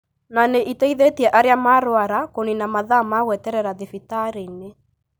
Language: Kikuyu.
na nĩ ĩteithĩtie arĩa marwara kũniina mathaa ma gweterera thibitarĩ-inĩ.